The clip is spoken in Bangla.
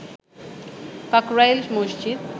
কাকরাইল মসজিদ